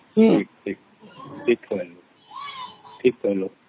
noise